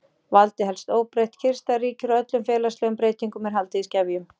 Valdið helst óbreytt, kyrrstaða ríkir og öllum félagslegum breytingum er haldið í skefjum.